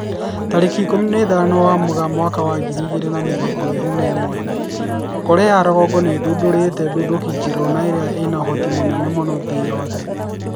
Tarĩki ikũmi na ithano wa Mũgaa mwaka wa ngiri igĩrĩ na mĩrongo ĩrĩ na ĩmwe, Korea ya rũgongo nĩ ĩthundũrite nduthũki njerũ na ĩria ĩna ũhoti mũnene mũno thĩ yothe